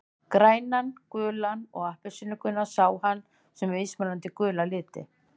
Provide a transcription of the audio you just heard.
Grænan, gulan og appelsínugulan sá hann sem mismunandi gula liti.